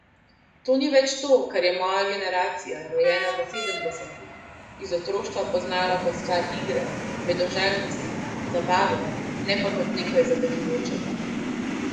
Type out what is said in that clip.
To ni več to, kar je moja generacija, rojena v sedemdesetih, iz otroštva poznala kot stvar igre, vedoželjnosti, zabave, ne pa kot nekaj zavezujočega.